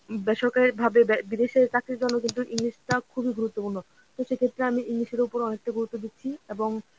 বেসরকারী ভাবে বিদেশের কাছের জন্য কিন্তু English টা খুবই গুরুত্বপূর্ণ সেক্ষেত্রে আমি english এর ওপর অনেকটা গুরুত্ব দিচ্ছি এবং